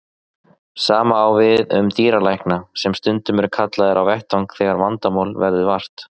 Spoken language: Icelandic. Sama á við um dýralækna sem stundum eru kallaðir á vettvang þegar vandamála verður vart.